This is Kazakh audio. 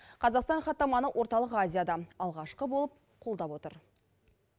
қазақстан хаттаманы орталық азияда алғашқы болып қолдап отыр